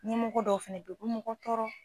Ɲɛmɔgɔ dɔw fɛnɛ bɛ ye u bɛ mɔgɔ tɔɔrɔ.